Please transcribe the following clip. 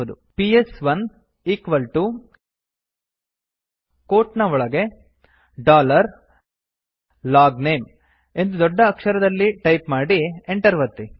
PS1 equal TO quote ನ ಒಳಗೆ dollar logname ಎಂದು ದೊಡ್ಡ ಅಕ್ಷರದಲ್ಲಿ ಟೈಪ್ ಮಾಡಿ Enter ಒತ್ತಿ